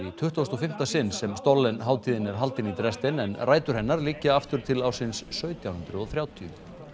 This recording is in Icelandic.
tuttugasta og fimmta sinn sem hátíðin er haldin í Dresden en rætur hennar liggja aftur til ársins sautján hundruð og þrjátíu